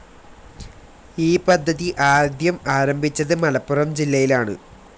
ഈ പദ്ധതി ആദ്യം ആരംഭിച്ചത് മലപ്പുറം ജില്ലയിലാണ്.